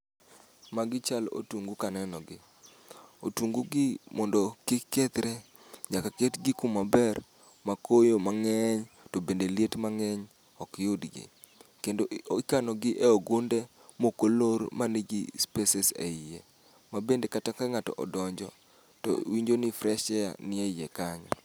Magi chal otungu kaneno gi. Otungu gi mondo kik kethre, nyaka ketgi kuma ber ma koyo mang'eny, to bende liet mang'eny ok yudgi. Kendo i ikano gi e ogunde mokolor ma nigi spaces e iye. Ma bende kata ka ng'ato odonjo to winjo ni fresh air nie iye kanyo.